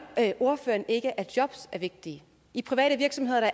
ordføreren ikke at jobs er vigtige i private virksomheder er